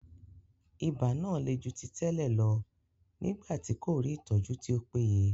Ibà náà le ju ti tẹ́lẹ̀ lọ nígbà tí kò rí ìtọ́jú tí ó péye.